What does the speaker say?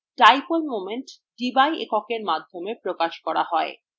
dipole moment debye এককের মাধ্যমে প্রকাশ করা হয়